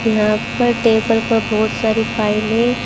यहां पर टेबल पर बहुत सारी फाइल --